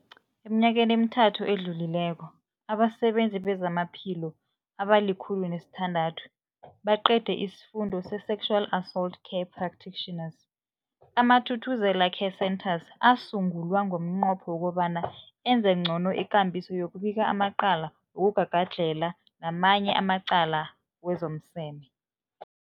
Eminyakeni emithathu edluleko, abasebenzi bezamaphilo abali-106 baqede isiFundo se-Sexual Assault Care Practitioners. AmaThuthuzela Care Centres asungulwa ngomnqopho wokobana enze ngcono ikambiso yokubika amacala wokugagadlhela namanye amacala wezomseme.